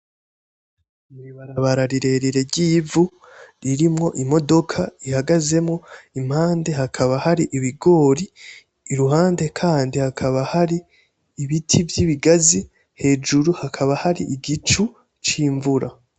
Ibarabara rirerire ry'ivu ririmwo imodoka ihagazemwo, impande haba har'ibigori iruhande kandi hakaba har'ibiti vy'ibigazi hejuru hakaba har'igicu c'imvura.